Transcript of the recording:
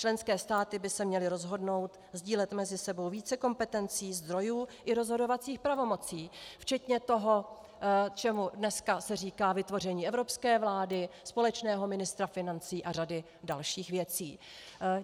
Členské státy by se měly rozhodnout sdílet mezi sebou více kompetencí, zdrojů i rozhodovacích pravomocí, včetně toho, čemu se dneska říká vytvoření evropské vlády, společného ministra financí a řady dalších věcí.